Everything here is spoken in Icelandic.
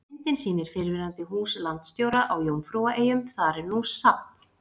Myndin sýnir fyrrverandi hús landsstjóra á Jómfrúaeyjum, þar er nú safn.